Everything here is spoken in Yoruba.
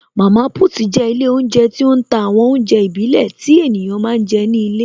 Mama put jẹ́ ilé oúnjẹ tí ó ń ta àwọn oúnjẹ ìbílẹ̀ tí ènìyàn máa ń jẹ ní ilé